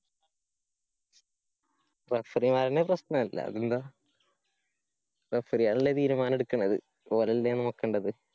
referee മാരന്നെ പ്രശ്നം അല്ലാതെന്താ? referee കളല്ലേ തീരുമാനം ഇടുക്കണത്. ഓരല്ലേ നോക്കണ്ടത്?